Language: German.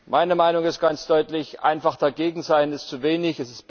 Meine Meinung ist ganz deutlich Einfach dagegen sein, ist zu wenig.